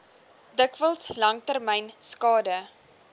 dikwels langtermyn skade